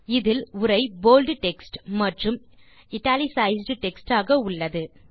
இதில் உரை bold text மற்றும் இட்டாலிசைஸ்ட் டெக்ஸ்ட் ஆக உள்ளது